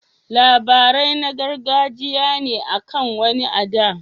Labarai na gargajiya ne akan wani a da.